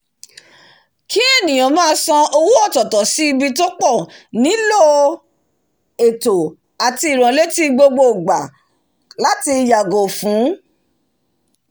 kí ènìyàn máa san owó ọ̀tọ̀tọ̀ sí ibi púpọ̀ nílò ètò àti ìránletí gbogbo ìgbà láti yàgò fún